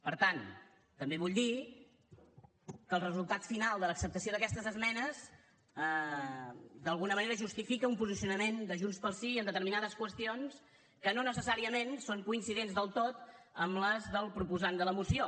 per tant també vull dir que el resultat final de l’acceptació d’aquestes esmenes d’alguna manera justifica un posicionament de junts pel sí en determinades qüestions que no necessàriament són coincidents del tot amb les del proposant de la moció